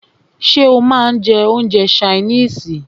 Ṣé o máà ń jẹ́ oúnjẹ ṣaínìisì?